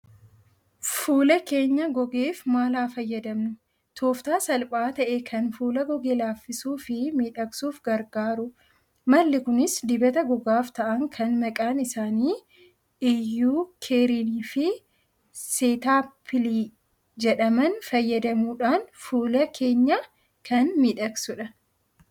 Fuula keenya gogeef maal haa fayyadamnu? Tooftaa salphaa ta'e kan fuula goge laaffisuuf fi miidhagsuuf gargaaru. Malli kunis dibata gogaaf ta'an kan maqaan isaanii 'eucerin' fi 'cetaphili' jedhaman fayyadamuudhaan fuula keenya kan miidhagsudha.